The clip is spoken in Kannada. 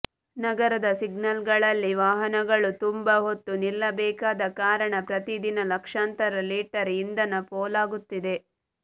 ನಗರದ ಸಿಗ್ನಲ್ಗಳಲ್ಲಿ ವಾಹನಗಳು ತುಂಬಾ ಹೊತ್ತು ನಿಲ್ಲಬೇಕಾದ ಕಾರಣ ಪ್ರತಿದಿನ ಲಕ್ಷಾಂತರ ಲೀಟರ್ ಇಂಧನ ಪೋಲಾಗುತ್ತಿದೆ